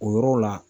O yɔrɔ la